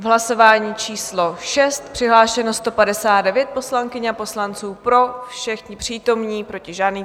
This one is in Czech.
V hlasování číslo 6 přihlášeno 159 poslankyň a poslanců, pro všichni přítomní, proti žádný.